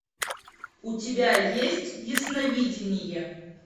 у тебя есть ясновидение